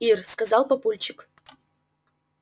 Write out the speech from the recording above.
ир сказал папульчик